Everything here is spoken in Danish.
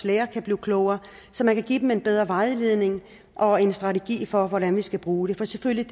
læger kan blive klogere så man kan give dem en bedre vejledning og en strategi for hvordan man skal bruge det for selvfølgelig